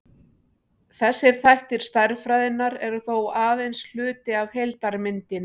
þessir þættir stærðfræðinnar eru þó aðeins hluti af heildarmyndinni